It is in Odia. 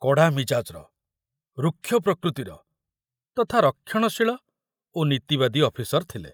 କଡ଼ା ମିଜାଜର, ରୁକ୍ଷ ପ୍ରକୃତିର ତଥା ରକ୍ଷଣଶୀଳ ଓ ନୀତିବାଦୀ ଅଫିସର ଥିଲେ।